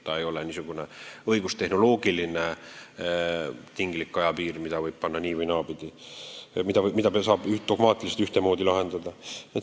See ei ole niisugune õigustehnoloogiline tinglik ajapiir, mida võib panna nii- või naapidi, mida saab dogmaatiliselt ühtemoodi määrata.